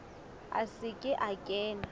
a se ke a kena